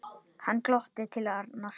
Hann glotti til Arnar.